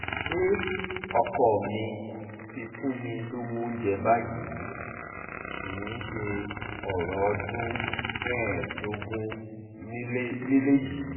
pé ọkọ mi ti fún mi lọ́wọ́ oúnjẹ báyìí kì í ṣe ọ̀rọ̀ ọdún mẹ́ẹ̀ẹ́dógún nílẹ̀ mẹ́ẹ̀ẹ́dógún nílẹ̀ yìí